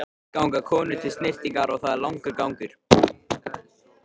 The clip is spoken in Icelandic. Fyrst ganga konur til snyrtingar og það er langur gangur.